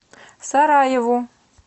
сараеву